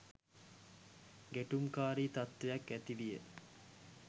ගැටුම්කාරී තත්වයක් ඇති විය